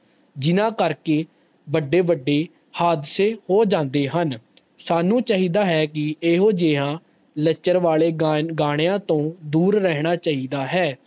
ਜਿਨਾਂ ਕਰਕੇ ਵੱਡੇ -ਵੱਡੇ ਹਾਦਸੇ ਹੋ ਜਾਂਦੇ ਹਨ ਸਾਨੂ ਚਾਹੀਦਾ ਹੈ ਕਿ ਇਹੋ ਜਿਯਾ ਲੱਚਰਵਾਲੇ ਗਾਣਿਆਂ ਤੋਂ ਦੂਰ ਰਹਿਣਾ ਚਾਹੀਦਾ ਹੈ